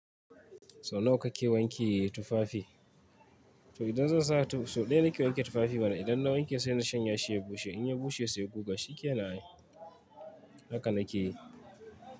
So nawa kake wanke tufafi? To idan zan sa so ɗaya nake wanke tufafi bana. Idan na wanke sai na shanya shi ya bushe. In ya bushe sai guga shikenan ai haka na ke yi.